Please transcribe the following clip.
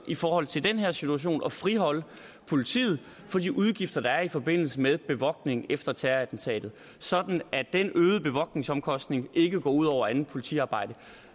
i forhold til den her situation ønsker at friholde politiet for de udgifter der er i forbindelse med bevogtning efter terrorattentatet sådan at den øgede bevogtningsomkostning ikke går ud over andet politiarbejde